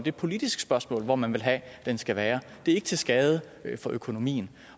et politisk spørgsmål hvor man vil have den skal være det er ikke til skade for økonomien